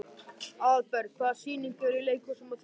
Aðalberg, hvaða sýningar eru í leikhúsinu á þriðjudaginn?